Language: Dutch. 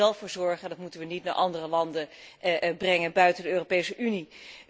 We moeten er zelf voor zorgen en dat moeten we niet naar andere landen brengen, buiten de Europese Unie.